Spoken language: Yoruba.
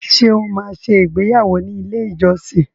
Ṣé o máa ṣe ìgbéyàwọ́ ní ilé-ìjọsìn?